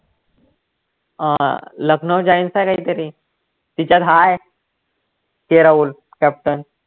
अं Lucknow giants का काहीतरी तिच्यात हा आहे KL राहुल captain